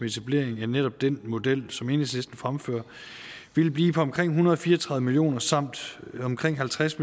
etableringen af netop den model som enhedslisten fremfører ville blive på omkring en hundrede og fire og tredive million kroner samt omkring halvtreds